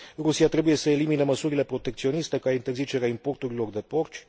Rusia trebuie să elimine măsurile protecționiste, ca interzicerea importurilor de porci.